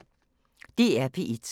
DR P1